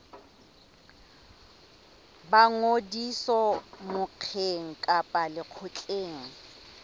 ba ngodiso mokgeng kapa lekgotleng